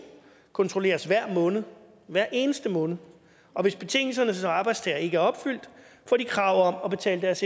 kontrolleres hver måned hver eneste måned og hvis betingelserne som arbejdstager ikke er opfyldt får de krav om at betale deres